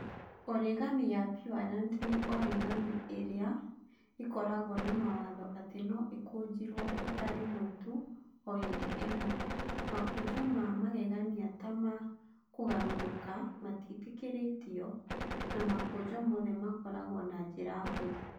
Origami ya pureland nĩ origami ĩrĩa ĩkoragwo na mawatho atĩ no ikũnjirwo rita rĩmwe tu o hĩndĩ ĩmwe, Makũnjo ma magegania ta ma kũgarũrũka matiĩtĩkĩrĩtio, na makũnjo mothe makoragwo na njĩra hũthũ.